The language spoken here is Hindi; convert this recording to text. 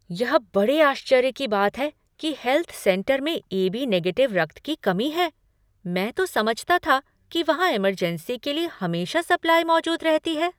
यह बड़े आश्चर्य की बात है कि हेल्थ सेंटर में ए.बी. निगेटिव रक्त की कमी है। मैं तो समझता था कि वहाँ इमरजेंसी के लिए हमेशा सप्लाई मौजूद रहती है।